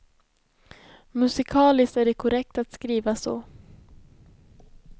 Musikaliskt är det korrekt att skriva så.